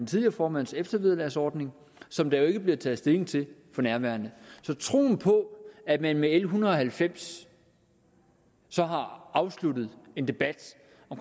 tidligere formands eftervederlagsordning som der jo ikke bliver taget stilling til for nærværende så troen på at man med l en hundrede og halvfems så har afsluttet en debat